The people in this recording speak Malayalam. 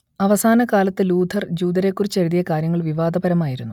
അവസാനകാലത്ത് ലൂഥർ ജൂതരേക്കുറിച്ചെഴുതിയ കാര്യങ്ങൾ വിവാദപരമായിരുന്നു